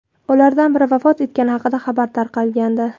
ulardan biri vafot etgani haqida xabar tarqalgandi.